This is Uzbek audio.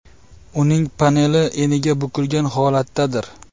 Uning paneli eniga bukilgan holatdadir.